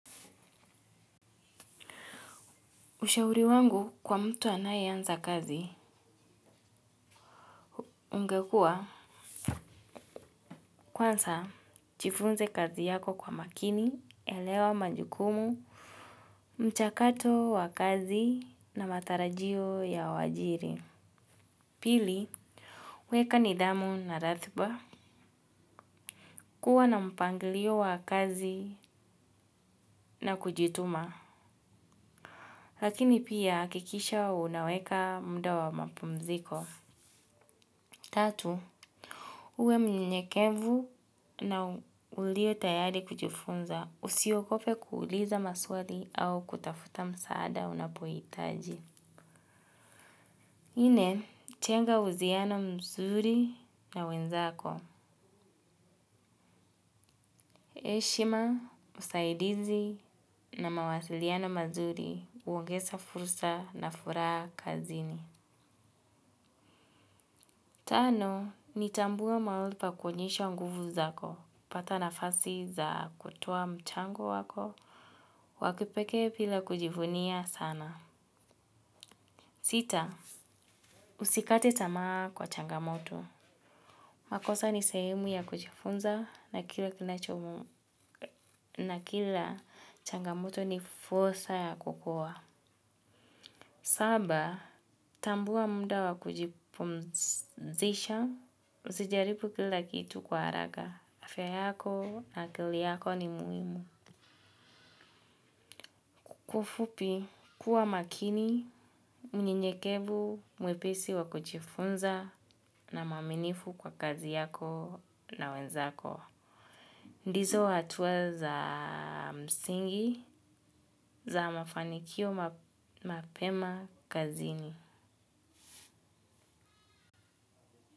Ushauri wangu kwa mtu anaye anza kazi. Ungekua? Kwanza, jifunze kazi yako kwa makini, elewa majukumu, mchakato wa kazi na matarajio ya waajiri. Pili, weka nidhamu na rathba. Kuwa na mpangilio wa kazi na kujituma. Lakini pia, hakikisha unaweka mda wa mapumziko. Tatu, uwe mnyenyekevu na ulie tayari kujifunza usiogope kuuliza maswali au kutafuta msaada unapoitaji. Nne, jenga usiano mzuri na wenzako. Heshima, usaidizi na mawasiliano mazuri uongeza fursa na furaha kazini. Tano, ni tambua mahali pakuonyesha nguvu zako, pata nafasi za kutoa mchango wako, wakipekee pila kujifunia sana. Sita, usikate tamaa kwa changamoto. Makosa ni sehemu ya kujifunza na kila changamoto ni furssa ya kukua. Saba, tambua muda wakujipumzisha, usijaribu kila kitu kwa haraka, afya yako na akili yako ni muhimu. Kwa ufupi, kuwa makini, mnyekevu, mwepisi wakujifunza na mwaminifu kwa kazi yako na wenzako. Ndizo hatua za msingi za mafanikio mapema kazini.